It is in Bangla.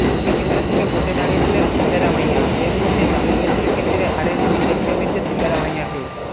দুটি কেন্দ্র থেকে ভোটে দাঁড়িয়েছিলেন সিদ্দারামাইয়া এর মধ্যে চামুণ্ডেশ্বরী কেন্দ্রে হারের মুখ দেখতে হয়েছে সিদ্দারামাইয়াকে